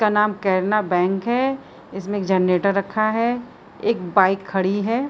इसका नाम केनरा बैंक है। इसमें एक जनरेटर रखा है। एक बाइक खड़ी है।